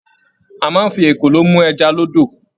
A máa n fí ekòló mú ẹja l'ódò.